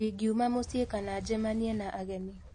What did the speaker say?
Ndingiuma mũciĩ kana njemanie na ageni.